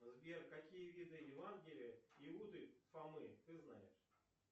сбер какие виды евангелия иуды фомы ты знаешь